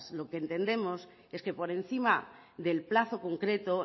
lo que entendemos es que por encima del plazo concreto